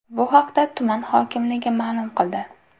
Bu haqda tuman hokimligi ma’lum qildi.